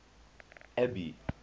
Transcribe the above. abby